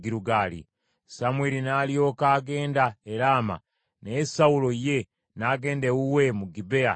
Samwiri n’alyoka agenda e Laama, naye Sawulo ye n’agenda ewuwe mu Gibea ekya Sawulo.